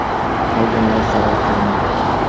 Qolganlar zarar ko‘rmadi.